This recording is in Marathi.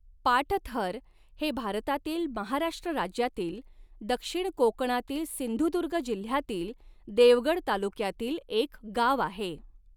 पाटथर हे भारतातील महाराष्ट्र राज्यातील दक्षिण कोकणातील सिंधुदुर्ग जिल्ह्यातील देवगड तालुक्यातील एक गाव आहे.